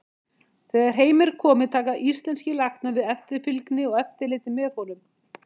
Þegar heim er komið taka íslenskir læknar við eftirfylgni og eftirliti með honum.